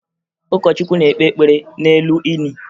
Ụkọchukwu na-ekpe ekpere n'elu ini